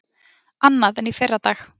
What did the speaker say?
Annað en í fyrradag.